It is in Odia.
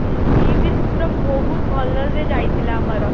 ହୁଁ ଦିଦିନ ପୁରା ବହୁତ ଭଲରେ ଯାଇଥିଲା ଆମର